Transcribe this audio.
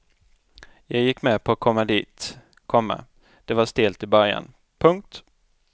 Jag gick med på att komma dit, komma det var stelt i början. punkt